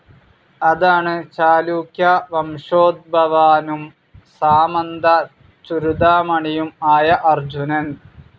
അതാണ് ചാലൂക്യ വംശോദ്ഭവാനും, സാമന്ത ചുരുദാമണിയും ആയ അർജുനൻ.